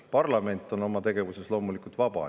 Parlament on oma tegevuses loomulikult vaba.